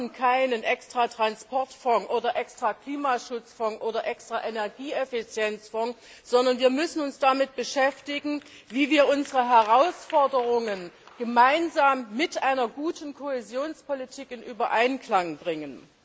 Wir brauchen keinen extra Transportfonds oder extra Klimaschutzfonds oder extra Energieeffizienzfonds, sondern wir müssen uns damit beschäftigen, wie wir unsere Herausforderungen mit einer guten Kohäsionspolitik in Einklang bringen.